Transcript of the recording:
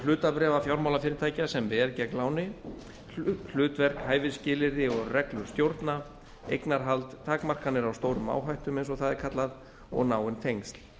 hlutabréfa fjármálafyrirtækja sem veð gegn láni hlutverk hæfisskilyrði og reglur stjórna eignarhald takmarkanir á stórum áhættum eins og það er kallað og náin tengsl